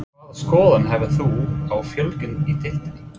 Hvaða skoðun hefur þú á fjölgun í deildinni?